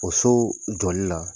O so joli la